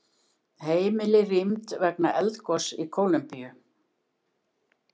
Heimili rýmd vegna eldgoss í Kólumbíu